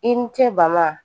I ni ce bama